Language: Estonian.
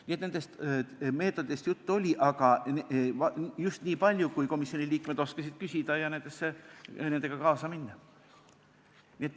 Nii et nendest meetoditest juttu oli, aga just niipalju, kui komisjoni liikmed oskasid küsida ja nende teemadega kaasa minna.